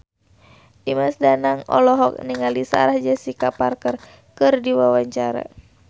Dimas Danang olohok ningali Sarah Jessica Parker keur diwawancara